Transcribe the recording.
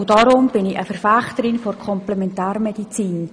Deshalb bin ich eine Verfechterin der Komplementärmedizin.